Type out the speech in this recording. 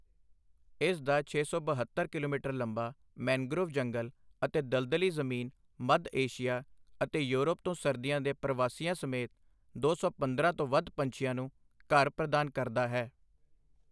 ਇਸ ਦਾ ਛੇ ਸੌ ਬਹੱਤਰ ਕਿਲੋਮੀਟਰ ਲੰਬਾ ਮੈਂਗਰੋਵ ਜੰਗਲ ਅਤੇ ਦਲਦਲੀ ਜ਼ਮੀਨ ਮੱਧ ਏਸ਼ੀਆ ਅਤੇ ਯੂਰਪ ਤੋਂ ਸਰਦੀਆਂ ਦੇ ਪ੍ਰਵਾਸੀਆਂ ਸਮੇਤ ਦੋ ਸੌ ਪੰਦਰਾਂ ਤੋਂ ਵੱਧ ਪੰਛੀਆਂ ਨੂੰ ਘਰ ਪ੍ਰਦਾਨ ਕਰਦਾ ਹੈ।